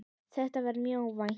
Þetta var mjög óvænt.